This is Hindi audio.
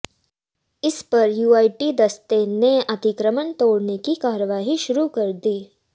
इस पर यूआईटी दस्ते ने अतिक्रमण तोडऩे की कार्रवाई शुरू कर दी